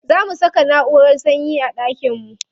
Za mu saka naʼurar sanyi a ɗakin mu.